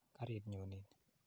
Karit nyu nin.